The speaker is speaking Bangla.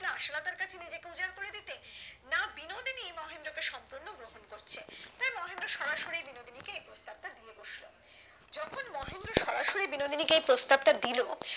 না আশালতা কাছে কাছে নিজেকে উজাড় করে দিতে না বিনোদিনী মহেন্দ্র কে সম্পূর্ণ গ্রহণ করছে তাই মহেন্দ্র সরাসরি বিনোদিনী কে এই প্রস্তাব টা দিয়ে বসলো যখন মহেন্দ্র সরাসরি বিনোদিনী কে এই প্রস্তাব টা দিলো